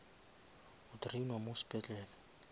o drainwa mo sepetlele